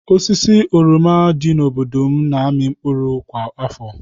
Osisi oroma dị n'obodo m na-amị mkpụrụ kwa afọ.